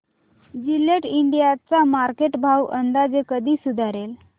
Gillette India चा market भाव अंदाजे कधी सुधारेल